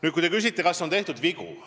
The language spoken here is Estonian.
Nüüd, te küsite, kas on tehtud vigu.